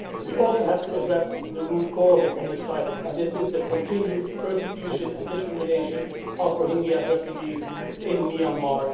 We also have to address the root causes of this crisis, and this is the continued persecution and discrimination of Rohingya refugees in Myanmar.